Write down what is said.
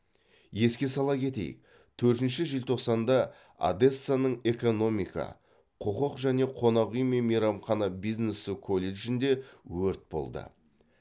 еске сала кетейік төртінші желтоқсанда одессаның экономика құқық және қонақ үй мен мейрамхана бизнесі колледжінде өрт болды